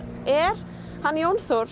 er Jón Þór